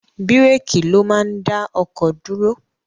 Bíréékì ló máa ń dá ọkọ̀ dúró.